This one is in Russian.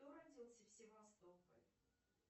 кто родился в севастополе